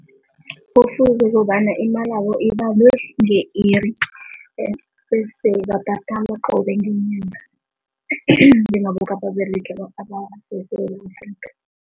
Ngombana imalabo ibalwe nge-iri bese babhadalwa qobe ngenyanga njengabo eSewula Afrika.